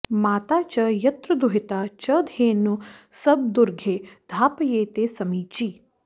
मा॒ता च॒ यत्र॑ दुहि॒ता च॑ धे॒नू स॑ब॒र्दुघे॑ धा॒पये॑ते समी॒ची